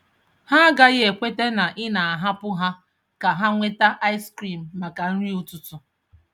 Ha agaghị ekweta na ị na-ahapụ ha ka ha nweta ice cream maka nri ụtụtụ.